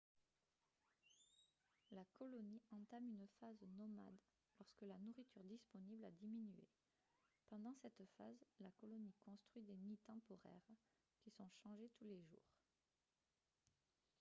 la colonie entame une phase nomade lorsque la nourriture disponible a diminué pendant cette phase la colonie construit des nids temporaires qui sont changés tous les jours